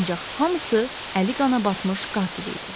Ancaq hamısı əli qana batmış qatil idi.